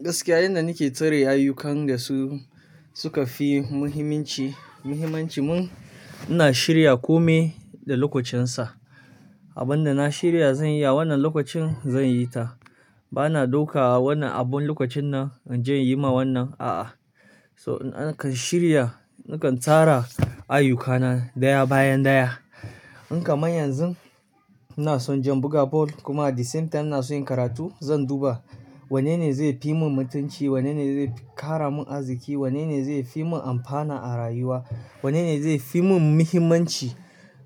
Gaskiya yanda nake tare ayyukan da su suka fi muhimanci, muhimmancin mun, ina shirya kome da lokacinsa. Abin da na shirya zan iya wannan lokacin zan yi ta. Bana dauka wannan abun lokacin nan in je in yi ma wannan, a'a. So, nakan shirya, nakan tara ayyukana daya bayan daya. In kamar yanzun ina son jan buga bal kuma a disemta ina so yin karatu, zan duba wanne ne zai fi mun mutunci, wanne ne zai kara mun arziki, wanne ne zai fi mun amfana a rayuwa, wanne ne zai fi mun muhimmanci.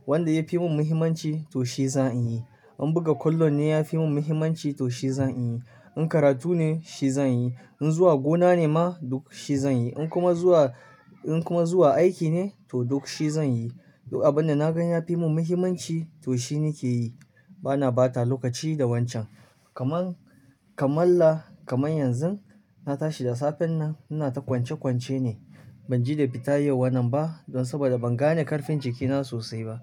Wanda ya fi mun muhimmanci to shi zan in yi. In buga kwallo ne ya fi mun muhimmanci to shi zan yi. In karatu ne shi zan yi. In zuwa gona ne ma duk shi zan yi. In kuma zuwa, in kuma zuwa aiki ne to duk shi zan yi. Duk abin da na gan ya fi mun muhimmanci to shi nake yi. Bana bata lokaci da wancan. Kaman, kamalla kamar yanzun na tashi da safen nan ina ta kwance kwance ne. Ban ji da fita yau wannan ba don saboda ban gane karfin jikina sosai ba.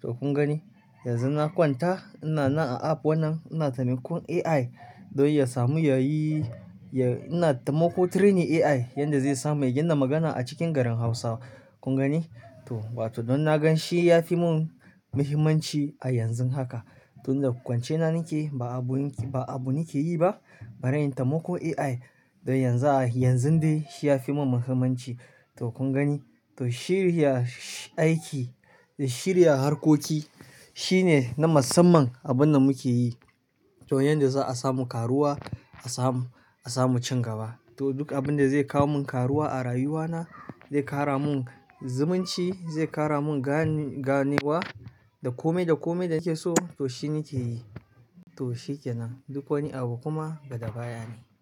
To kun gani, yanzun na kwanta ina na a app wannan ina tamiko AI don ya samu ya yi, ya-- ina taimako training AI yanda zai samu ya gina magana a cikin garin Hausa. Kun gani? To, watan don na gan shi ya fi mun muhimmanci a yanzun haka. Tun da kwance na nake yi ba abu yinki, ba abu nake yi ba. Bara yin tamiko AI don yanzu a, yanzun dai shi ya fi mun muhimmanci. To kun gani? To shirya sh-aiki da shirya harkoki shine na musamman abin da muke yi. To yanda za'a samu karuwa, a samu, a samu cin gaba. To duk abin da zai kawo mun karuwa a rayuwana, zai kara mun zumunci, zai kara mun gani-ganewa da kome da kome da nake so to shi nake yi. To shi ke nan. Duk wani abu kuma daga baya ne.